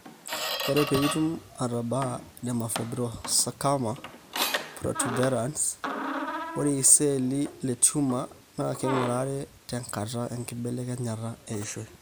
ore pitum atabaa dermatofibrosarcoma protuberans, ore iseli le tumor na kingurare tenkarai enkibelekenyata eishoi.